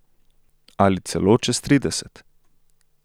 Ali celo čez trideset.